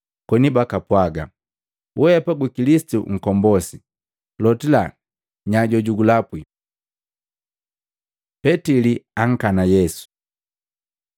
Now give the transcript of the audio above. koni bakapwaga, “Wehapa gu Kilisitu Nkombosi! Lotila nya jojugulapwi?” Petili ankana Yesu Maluko 14:66-72; Luka 22:56-62; Yohana 18:15-18, 25-27